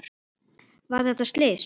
Var þetta slys?